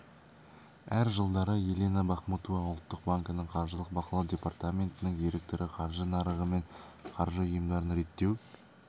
әр жылдары елена бахмутова ұлттық банкінің қаржылық бақылау департаментінің директоры қаржы нарығы мен қаржы ұйымдарын реттеу